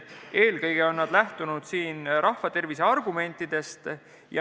Eelkõige on nad lähtunud rahva tervise argumentidest.